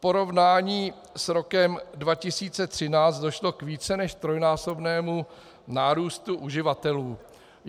V porovnání s rokem 2013 došlo k více než trojnásobnému nárůstu uživatelů.